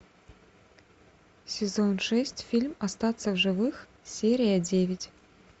сезон шесть фильм остаться в живых серия девять